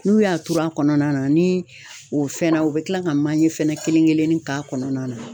N'u y'a tur'a kɔnɔna na ni o fɛnna u bɛ tila ka manje fɛnɛ kelen kelennin k'a kɔnɔna na.